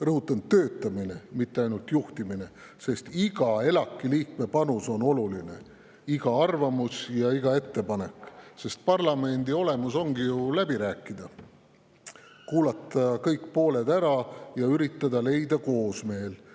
Rõhutan: töötamine, mitte ainult selle juhtimine, sest iga ELAK‑i liikme panus on oluline, iga arvamus ja iga ettepanek, sest parlamendi olemuses ongi ju läbi rääkida, kuulata kõik pooled ära ja üritada leida koosmeel.